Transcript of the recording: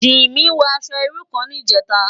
Jimi wò aṣò irú kán nijètá